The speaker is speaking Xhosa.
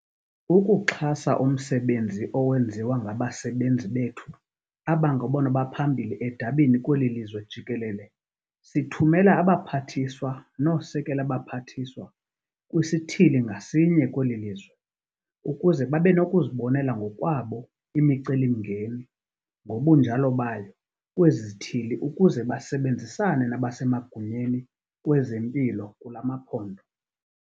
Ukuxhasa umsebenzi owenziwa ngabasebenzi bethu abangabona baphambili edabini kweli lizwe jikelele sithumela abaPhathiswa nooSekela baPhathiswa kwisithili ngasinye kweli lizwe ukuze babe nokuzibonela ngokwabo imicelimngeni ngobunjalo bayo kwezi zithili ukuze basebenzisane nabasemagunyeni kwezempilo kula maphondo.